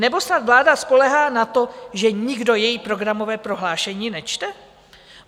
Nebo snad vláda spoléhá na to, že nikdo její programové prohlášení nečte?